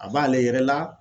A b'ale yɛrɛ la